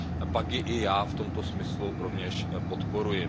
Pak je i já v tomto smyslu rovněž podporuji.